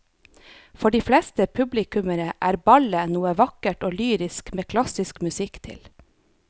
For de fleste publikummere er ballett noe vakkert og lyrisk med klassisk musikk til.